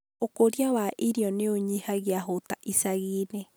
ũkũria wa irio nĩũnyihagia hũta icagi-inĩ.